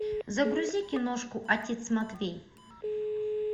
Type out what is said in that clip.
загрузи киношку отец матвей